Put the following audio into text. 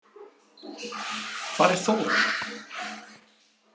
Hvar er Þóra?